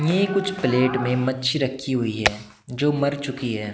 ये कुछ प्लेट में मच्छी रखी हुई है जो मर चुकी है।